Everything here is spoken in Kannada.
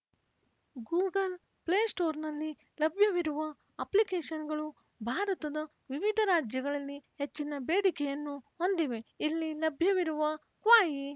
ಗೂಗಲ್‌ ಪ್ಲೇಸ್ಟೋರ್‌ನಲ್ಲಿ ಲಭ್ಯವಿರುವ ಅಪ್ಲಿಕೇಶನ್‌ಗಳು ಭಾರತದ ವಿವಿಧ ರಾಜ್ಯಗಳಲ್ಲಿ ಹೆಚ್ಚಿನ ಬೇಡಿಕೆಯನ್ನು ಹೊಂದಿವೆ ಇಲ್ಲಿ ಲಭ್ಯವಿರುವ ಕ್ವಾಯಿ